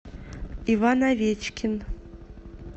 иван овечкин